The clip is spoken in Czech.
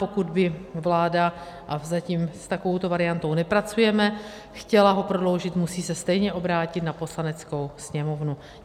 Pokud by vláda, a zatím s takovou variantou nepracujeme, chtěla ho prodloužit, musí se stejně obrátit na Poslaneckou sněmovnu.